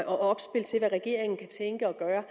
opspil til hvad regeringen kan tænke og gøre